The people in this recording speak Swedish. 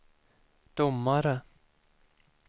domare